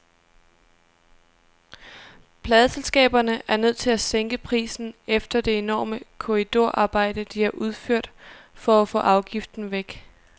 Pladeselskaberne er nødt til at sænke prisen efter det enorme korridorarbejde, de har udført for at få afgiften væk.